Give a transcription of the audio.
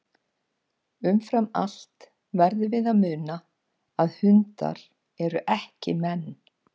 Umfram allt verðum við að muna að hundar eru ekki menn.